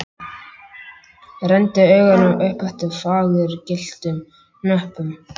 Renndi augunum upp eftir fagurgylltum hnöppum.